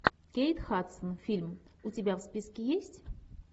кейт хадсон фильм у тебя в списке есть